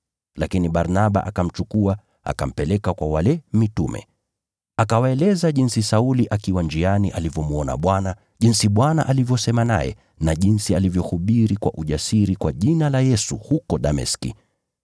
Lakini Barnaba akamchukua, akampeleka kwa wale mitume. Akawaeleza jinsi Sauli akiwa njiani alivyomwona Bwana, jinsi Bwana alivyosema naye na jinsi alivyohubiri kwa ujasiri kwa jina la Yesu huko Dameski.